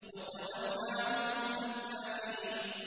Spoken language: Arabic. وَتَوَلَّ عَنْهُمْ حَتَّىٰ حِينٍ